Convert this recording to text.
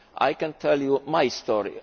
I can tell you my story.